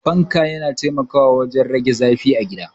Fanka na taimakawa wurin rage zafin a gida.